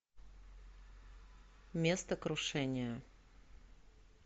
место крушения